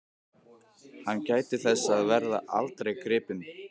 Hann gæti þess að verða aldrei gripinn.